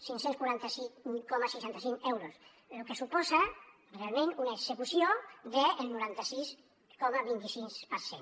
cinc cents i quaranta cinc coma seixanta cinc euros lo que suposa realment una execució del noranta sis coma vint sis per cent